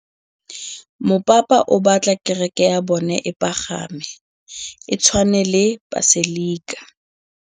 Mopapa o batla kereke ya bone e pagame, e tshwane le paselika.